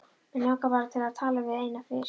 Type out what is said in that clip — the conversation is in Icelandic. Mig langar bara til að tala við þig eina fyrst.